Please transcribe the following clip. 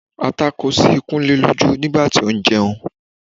Ata kó sí Kúnlé lójú nígbà tó ń jẹun